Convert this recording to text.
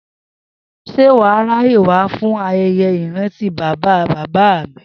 S̩e wà á ráyè wá fún aye̩ye̩ ìrántí bàbá a bàbá mi?